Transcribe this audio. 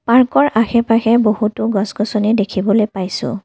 পাৰ্কৰ আশে পাশে বহুতো গছ গছনি দেখিবলৈ পাইছোঁ।